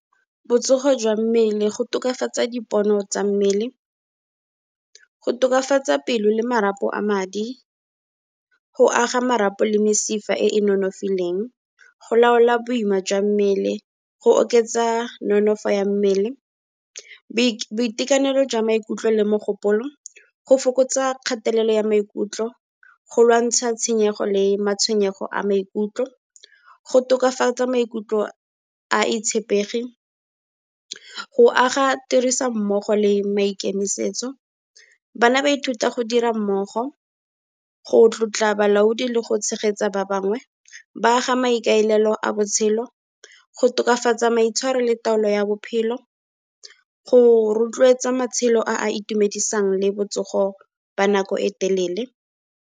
Botsogo jwa mmele, go tokafatsa dipono tsa mmele, go tokafatsa pelo le marapo a madi, go aga marapo le mesifa e e nonofileng, go laola boima jwa mmele, go oketsa nonofo ya mmele. Boitekanelo jwa maikutlo le mogopolo, go fokotsa kgatelelo ya maikutlo, go lwantsha tshenyego le matshwenyego a maikutlo, go tokafatsa maikutlo a itshepegi, go aga tirisommogo le maikemisetso. Bana ba ithuta go dira mmogo, go tlotla balaodi le go tshegetsa ba bangwe, ba aga maikaelelo a botshelo, go tokafatsa maitshwaro le taolo ya bophelo, go rotloetsa matshelo a a itumedisang le botsogo ba nako e telele.